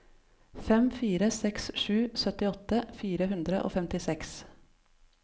fem fire seks sju syttiåtte fire hundre og femtiseks